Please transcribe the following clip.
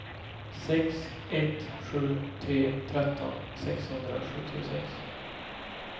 sex ett sju tre tretton sexhundrasjuttiosex